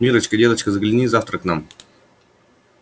миррочка деточка загляни завтра к нам